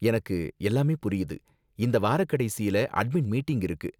எனக்கு எல்லாமே புரியுது, இந்த வாரக்கடைசியில அட்மின் மீட்டிங் இருக்கு